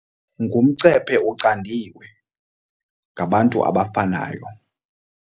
Ngumcephe ucandiwe, ngabantu abafanayo.